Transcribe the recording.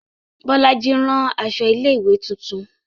Bolaji rán aṣọ ilé ìwé titun